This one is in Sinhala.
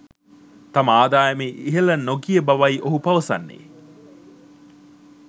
තම ආදායම ඉහල නො ගිය බවයි ඔහු පවසන්නේ.